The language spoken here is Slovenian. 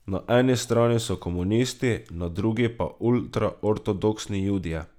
Na eni strani so komunisti, na drugi pa ultra ortodoksni Judje.